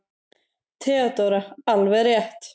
THEODÓRA: Alveg rétt!